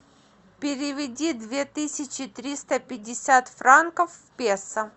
переведи две тысячи триста пятьдесят франков в песо